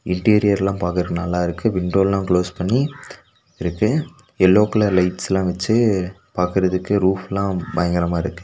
இன்டீரியரெல்லா பாக்கறக்கு நல்லா இருக்கு விண்டோ எல்லா க்ளோஸ் பண்ணி இருக்கு எல்லோ கலர் லைட்ஸ்லா வெச்சு பாக்கறதுக்கு ரூஃப்லா பயங்கரமா இருக்கு.